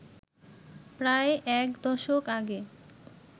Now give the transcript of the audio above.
প্রায় একদশক আগে